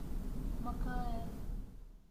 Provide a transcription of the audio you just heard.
макаэ